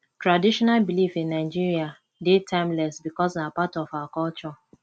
traditional belief in nigeria de timeless because na part our culture